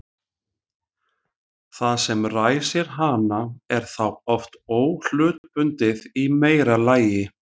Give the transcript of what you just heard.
það sem ræsir hana er þá oft óhlutbundið í meira lagi